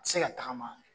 Se ka tagama